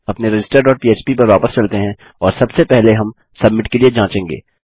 अपने register dot पह्प पर वापस चलते हैं और सबसे पहले हम सबमिट के लिए जाँचेंगे